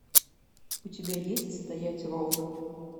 у тебя есть стоять ровно